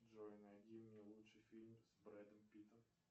джой найди мне лучший фильм с брэдом питтом